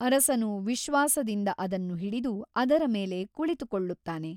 ಅರಸನು ವಿಶ್ವಾಸದಿಂದ ಅದನ್ನು ಹಿಡಿದು ಅದರ ಮೇಲೆ ಕುಳಿತುಕೊಳ್ಳುತ್ತಾನೆ.